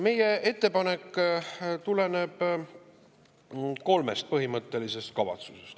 Meie ettepanek tuleneb kolmest põhimõttelisest kavatsusest.